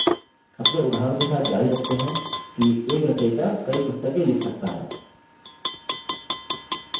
अपने उदाहरण के साथ जारी रखते हैं कि एक रचयिता कई पुस्तकें लिख सकता है